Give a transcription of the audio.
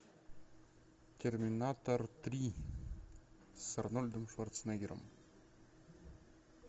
терминатор три с арнольдом шварценеггером